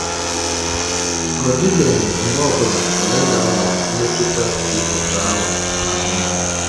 Ọ dịbeghị mgbe ọ bụla kalenda nwere mmetụta dị otú ahụ n’ahụ́ m.